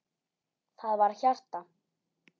Það var hjarta!